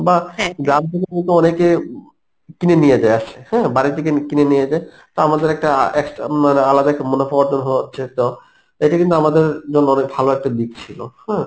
বা গ্রাম থেকে কিন্তু অনেকে কিনে নিয়ে যায় আসছে হ্যাঁ বাড়ি থেকে কিনে নিয়ে যায় তা আমাদের একটা অ্যাঁ extra মানে আলাদা একটা মুনাফা অর্জন হচ্ছে তো এটা কিন্তু আমাদের জন্য অনেক ভালো একটা দিক ছিলো হম